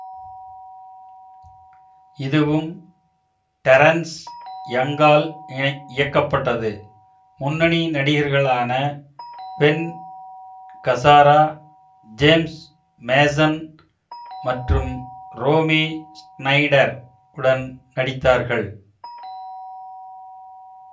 இதுவும் டெரென்ஸ் யங்கால் இணை இயக்கப்பட்டது முன்னணி நடிகர்களான பென் கசாரா ஜேம்ஸ் மேஸன் மற்றும் ரோமி ஷ்னைடர் உடன் நடித்தார்கள்